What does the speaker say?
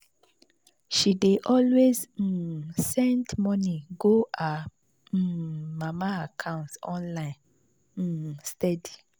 she dey always um send money go her um mama account online um steady.